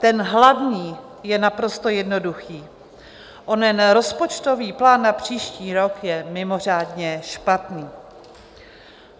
Ten hlavní je naprosto jednoduchý - onen rozpočtový plán na příští rok je mimořádně špatný.